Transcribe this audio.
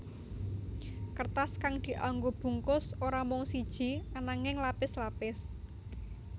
Kertas kang dianggo bungkus ora mung siji ananging lapis lapis